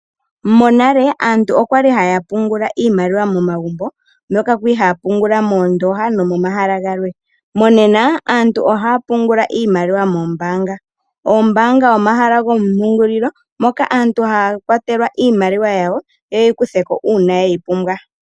Monale aantu oyali haya pungula iimaliwa momagumbo, moka kwali ha ya pungula mondooha nomomahala galwe. Mongashingeya aantu ohaya pungula iimaliwa mombaanga. Oombaanga omahala goompungulilo moka aantu ha ya kwatelwa iimaliwa yawo ye yi kutheko uuna ye yi pumbwa.